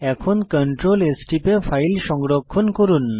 এখন Ctrl S টিপে file সংরক্ষণ করুন